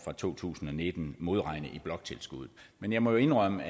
to tusind og nitten modregne i bloktilskuddet men jeg må jo indrømme